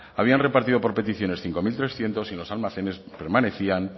habían repartido por peticiones cinco mil trescientos y en los almacenes permanecían